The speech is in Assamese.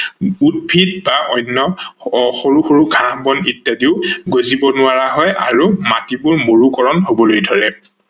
উদ্ভিদ বা অন্য সৰু সৰু ঘাহ বন ইত্যাদিও গজিব নোৱাৰা হয় আৰু মাটিবোৰ মৰুকৰন হবলৈ ধৰে।